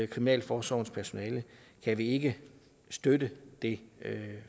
kriminalforsorgens personale kan vi ikke støtte det